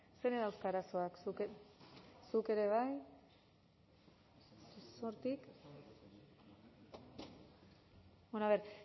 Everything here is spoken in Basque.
zeinek dauzka arazoak bueno